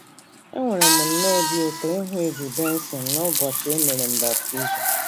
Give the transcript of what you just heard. Enwere m nnọọ obi ụtọ ịhụ Eddie Besson nụbọchị e mere m baptizim.